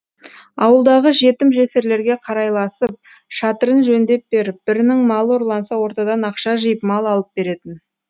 ауылдағы жетім жесірлерге қарайласып шатырын жөндеп беріп бірінің малы ұрланса ортадан ақша жиып мал алып беретін